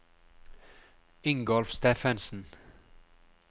Ingolf Steffensen